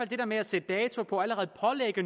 det der med at sætte dato på og allerede